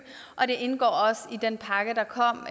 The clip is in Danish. og det indgår også i den pakke der kom